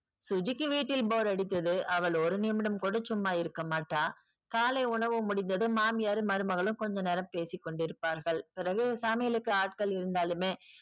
சுஜிக்கு வீட்டில் bore அடித்தது அவள் ஒரு நிமிடம் கூட சும்மா இருக்க மாட்டாள் காலை உணவு முடிந்ததும் மாமியாரும் மருமகளும் கொஞ்ச நேரம் பேசிக்கொண்டு இருப்பார்கள் பிறகு சமையலுக்கு ஆட்கள் இருந்தாலுமே